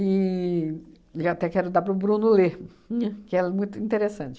e até quero dar para o Bruno ler, que é muito interessante.